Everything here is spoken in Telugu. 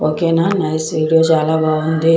ఓకే న నైస్ వీడియో చాలా బాగుంది.